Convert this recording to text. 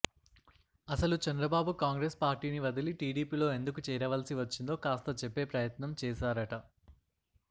అసలు చంద్రబాబు కాంగ్రెస్ పార్టీని వదలి టీడీపీలో ఎందుకు చేరవలసి వచ్చిందో కాస్త చెప్పే ప్రయత్నం చేశారట